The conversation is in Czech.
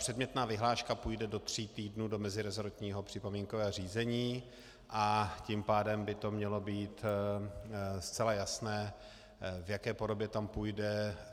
Předmětná vyhláška půjde do tří týdnů do meziresortního připomínkového řízení, a tím pádem by to mělo být zcela jasné, v jaké podobě tam půjde.